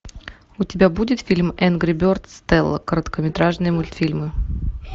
у тебя будет фильм энгри бердз стелла короткометражные мультфильмы